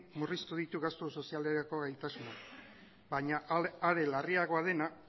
murriztu ditu gastu sozialerako gaitasuna baina are larriagoa dena